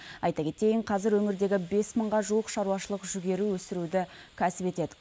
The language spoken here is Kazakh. айта кетейін қазір өңірдегі бес мыңға жуық шаруашылық жүгері өсіруді кәсіп етеді